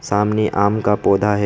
सामने आम का पौधा है।